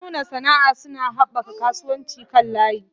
Masu nuna sana'a suna haɓaka kasuwancin kan layi.